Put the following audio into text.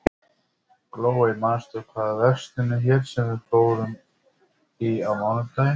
Glóey, manstu hvað verslunin hét sem við fórum í á mánudaginn?